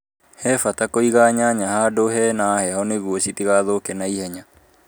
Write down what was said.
He bata kũiga nyanya hadũ hena heho nĩguo citigathũke naihenya.